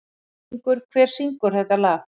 Víkingur, hver syngur þetta lag?